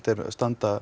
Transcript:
er